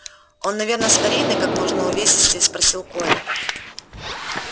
он наверно старинный как можно увесистее спросил коля